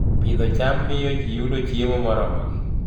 Pidho cham miyo ji yudo chiemo moromogi